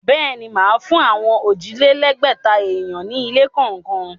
Bẹ́ẹ̀ ni, màá fún àwọn òjìlẹ́lẹ̀ẹ́gbẹ̀ta èèyàn ní ilé kọ̀ọ̀kan.